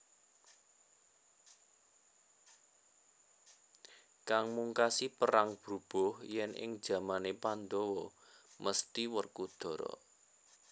Kang mungkasi perang brubuh yen ing jamane Pandhawa mesthi Werkudara